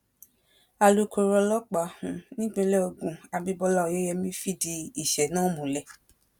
alukoro ọlọ́pàá um nípìnlẹ ògùn abímbọ́lá oyeyèmí fìdí ìṣẹ̀lẹ̀ náà múlẹ̀